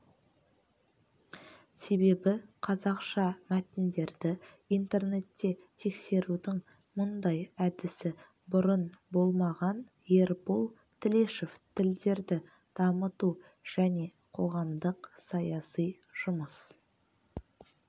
себебі қазақша мәтіндерді интернетте тексерудің мұндай әдісі бұрын болмаған ербол тілешов тілдерді дамыту және қоғамдық-саяси жұмыс